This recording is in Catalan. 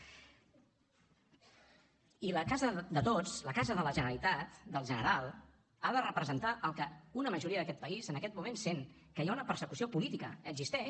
i la casa de tots la casa de la generalitat del general ha de representar el que una majoria d’aquest país en aquest moment sent que hi ha una persecució política existeix